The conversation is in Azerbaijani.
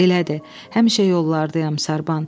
"Elədir, həmişə yollardayam Sarban.